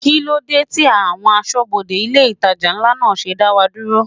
Kí ló dé tí àwọn aṣọ́bodè ilé itàjà ńlá náà ṣe dá wa dúró?